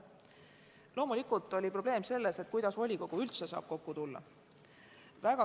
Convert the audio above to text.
Loomulikult oli probleem selles, kuidas volikogu üldse saab kokku tulla.